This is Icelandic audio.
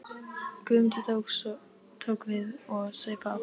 Guðmundur tók við og saup á.